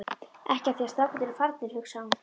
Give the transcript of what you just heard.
Ekki af því að strákarnir eru farnir, hugsaði hún.